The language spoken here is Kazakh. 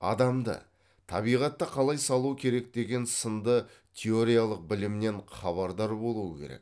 адамды табиғатты қалай салу керек деген сынды теориялық білімнен хабардар болуы керек